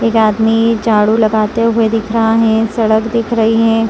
एक आदमी झाड़ू लगाते हुए दिख रहा है सड़क दिख रही है।